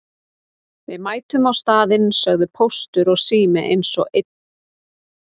Við mætum á staðinn sögðu Póstur og Sími eins og einn maður.